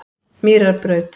Mýrarbraut